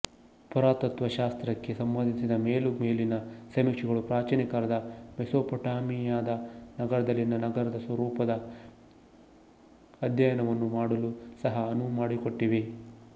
ಪುರಾತತ್ತ್ವಶಾಸ್ತ್ರಕ್ಕೆ ಸಂಬಂಧಿಸಿದ ಮೇಲುಮೇಲಿನ ಸಮೀಕ್ಷೆಗಳು ಪ್ರಾಚೀನ ಕಾಲದ ಮೆಸೊಪಟ್ಯಾಮಿಯಾದ ನಗರಗಳಲ್ಲಿನ ನಗರ ಸ್ವರೂಪದ ಅಧ್ಯಯನವನ್ನು ಮಾಡಲೂ ಸಹ ಅನುವುಮಾಡಿಕೊಟ್ಟಿವೆ